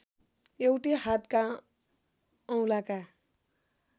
एउटै हातका औंलाका